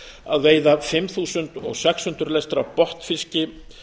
að veiða fimm þúsund sex hundruð lestir af botnfiski